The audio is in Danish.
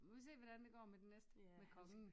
Vi må se hvordan det går med den næste med kongen